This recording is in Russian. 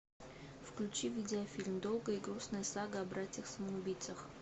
включи видеофильм долгая и грустная сага о братьях самоубийцах